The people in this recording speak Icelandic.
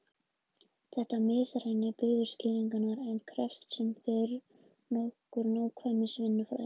Þetta misræmi bíður skýringar en krefst sem fyrr segir nokkurrar nákvæmnisvinnu fræðimanna.